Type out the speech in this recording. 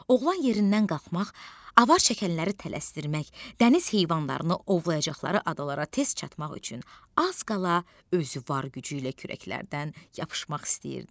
Oğlan yerindən qalxmaq, avar çəkənləri tələsdirmək, dəniz heyvanlarını ovlayacaqları adalara tez çatmaq üçün az qala özü var gücü ilə kürəklərdən yapışmaq istəyirdi.